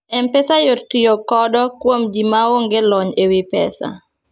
mpesa yot tiyo kodo kuom ji maonge lony ewi pesa